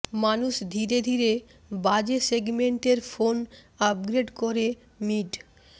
মানুষ ধীরে ধীরে বাজে সেগমেন্টের ফোন আপগ্রেড করে মিড